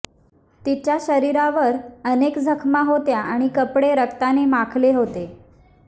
तिच्या शरीरावर अनेक जखमा होत्या आणि कपडे रक्ताने माखले होते